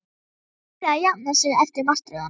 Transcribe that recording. Hann var að byrja að jafna sig eftir martröðina.